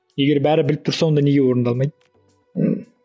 егер бәрі біліп тұрса онда неге орындалмайды